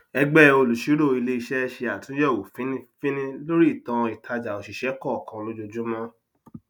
ẹgbẹ olùṣírò iléiṣẹ ṣe àtúnyẹwò fínífíní lórí ìtàn ìtajà oṣiṣẹ kọọkan lójoojúmọ